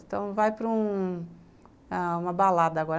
Então, vai para ah uma balada agora.